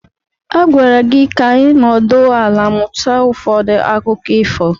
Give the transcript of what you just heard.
A gwara gị ka ị nọdụ ala mụta ụfọdụ akụkọ ifo.